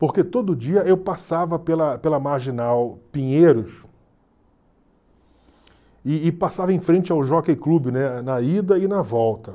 Porque todo dia eu passava pela pela Marginal Pinheiros e e passava em frente ao Jockey Club, né, na ida e na volta.